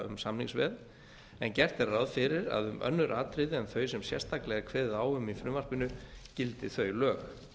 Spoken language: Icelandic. um samningsveð en gert er ráð fyrir að um önnur atriði en þau sem sérstaklega er kveðið á um í frumvarpinu gildi þau lög